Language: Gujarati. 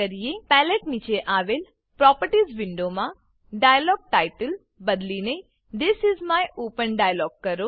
પેલેટ પેલેટ નીચે આવેલ પ્રોપર્ટીઝ પ્રોપર્ટીઝ વિન્ડોમાં ડાયલોગ્ટાઇટલ ડાયલોગટાઈટલ બદલીને this is my open dialog કરો